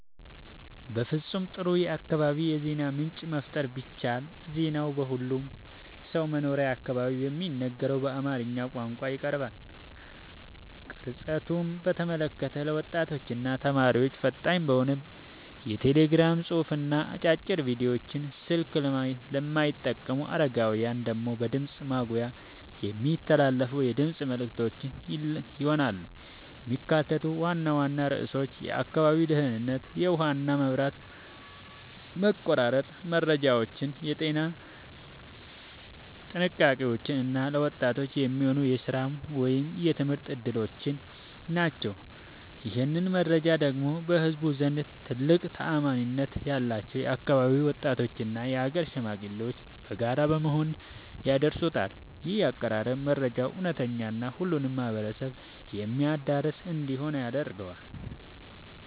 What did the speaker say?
ፍጹም ጥሩ የአካባቢ የዜና ምንጭ መፍጠር ብችል ዜናው በሁሉም ሰው መኖሪያ አካባቢ በሚነገረው በአማርኛ ቋንቋ ይቀርባል። ቅርጸቱን በተመለከተ ለወጣቶችና ተማሪዎች ፈጣን በሆነ የቴሌግራም ጽሑፍና አጫጭር ቪዲዮዎች፣ ስልክ ለማይጠቀሙ አረጋውያን ደግሞ በድምፅ ማጉያ የሚተላለፉ የድምፅ መልዕክቶች ይሆናሉ። የሚካተቱት ዋና ዋና ርዕሶች የአካባቢው ደህንነት፣ የውሃና መብራት መቆራረጥ መረጃዎች፣ የጤና ጥንቃቄዎች እና ለወጣቶች የሚሆኑ የሥራ ወይም የትምህርት ዕድሎች ናቸው። ይህንን መረጃ ደግሞ በህዝቡ ዘንድ ትልቅ ተአማኒነት ያላቸው የአካባቢው ወጣቶችና የአገር ሽማግሌዎች በጋራ በመሆን ያደርሱታል። ይህ አቀራረብ መረጃው እውነተኛና ሁሉንም ማህበረሰብ የሚያዳርስ እንዲሆን ያደርገዋል።